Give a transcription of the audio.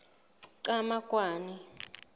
qhamakwane